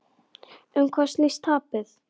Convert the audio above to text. Um hvað snýst tapið?